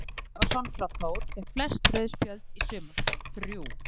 Ármann Pétur Ævarsson úr Þór fékk flest rauð spjöld í sumar, þrjú.